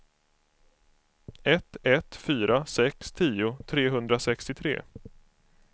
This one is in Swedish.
ett ett fyra sex tio trehundrasextiotre